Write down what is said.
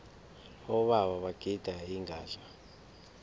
abobaba bagida ingadla